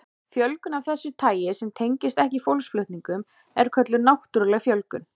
Fjölgun af þessu tagi sem tengist ekki fólksflutningum er kölluð náttúruleg fjölgun.